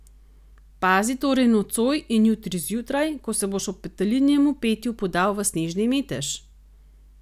Pazi torej nocoj in jutri zjutraj, ko se boš ob petelinjem petju podal v snežni metež!